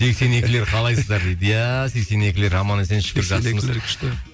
сексен екілер қалайсыздар дейді иә сексен екілер аман есен шүкір